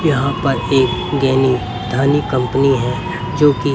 यहां पर एक दैनिक धनी कंपनी है जो की--